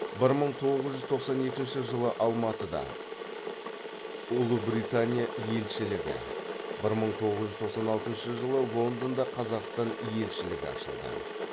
бір мың тоғыз жүз тоқсан екінші жылы алматыда ұлыбритания елшілігі бір мың тоғыз жүз тоқсан алтыншы жылы лондонда қазақстан елшілігі ашылды